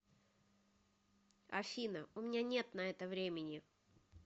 афина у меня нет на это времени